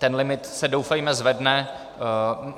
Ten limit se, doufejme, zvedne.